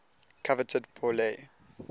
coveted pour le